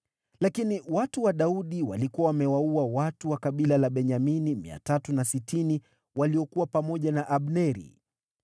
Lakini watu wa Daudi walikuwa wamewaua watu wa kabila la Benyamini 360 waliokuwa pamoja na Abneri.